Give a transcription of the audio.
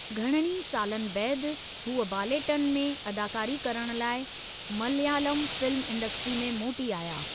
घणनि ई सालनि बैदि , हूअ बालेट्टन में अदाकारी करणु लाइ मलयालम फिल्म इंडस्ट्रीअ में मोटी आया।